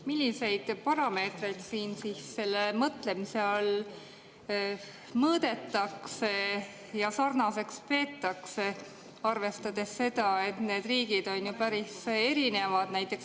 Milliseid parameetreid siin selle mõtlemise all mõõdetakse ja sarnaseks peetakse, arvestades seda, et need riigid on päris erinevad?